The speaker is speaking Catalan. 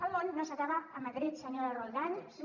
el món no s’acaba a madrid senyora roldán